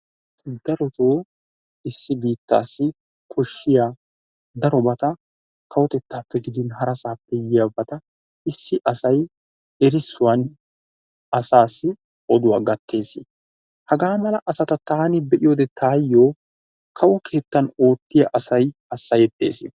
darotoo issi biitaassi koshiya darobata kawotettappe gidin harasaappe yiyaabata, issi asay erisuwan asaassi, oduwaa gatees. hagaa mala asata taani be'iyode taayoo, kawo keettan oottiya asay hasayetees.